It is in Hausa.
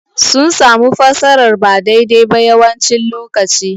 Sun samu fassarar ba daidai ba yawancin lokaci.